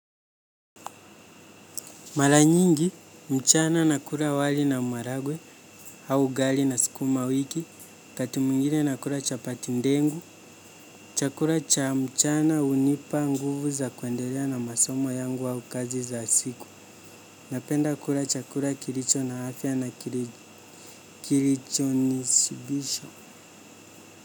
Maranyingi, mchana nakula wali na maragwe, au ugali na sukuma wiki, wakati mwingine nakula chapati ndengu, chakula cha mchana unipa nguvu za kuendelea na masomo yangu au kazi za siku, napenda kula chakula kilicho na afya na kilicho nisibisha.